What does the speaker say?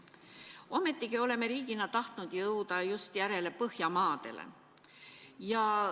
Ometi oleme riigina tahtnud jõuda järele just Põhjamaadele.